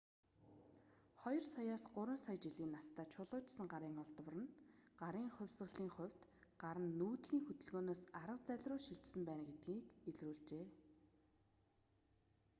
2 саяаас 3 сая жилийн настай чулуужсан гарын олдвор нь гарын хувьсалын хувьд гар нь нүүдлийн хөдөлгөөнөөс арга зальруу шилжсэн байна гэдгийн илрүүлжээ